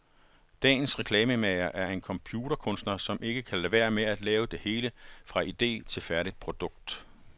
Dagens reklamemager er en computerkunstner, som ikke kan lade være med at lave det hele, fra ide til færdigt produkt.